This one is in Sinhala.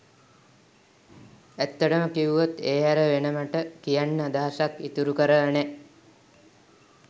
ඇත්තටම කිව්වොත් ඒ හැර වෙන මට කියන්න අදහසක් ඉතුරු කරලා නෑ